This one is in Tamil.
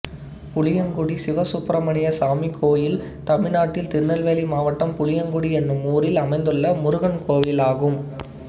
புளியங்குடி சிவசுப்பிரமணியசாமி கோயில் தமிழ்நாட்டில் திருநெல்வேலி மாவட்டம் புளியங்குடி என்னும் ஊரில் அமைந்துள்ள முருகன் கோயிலாகும்